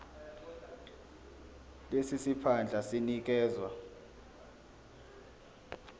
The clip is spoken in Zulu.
lesi siphandla sinikezwa